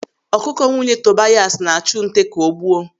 Ọkụkọ nwunye Tobias na-achụ nte ka o gbuo.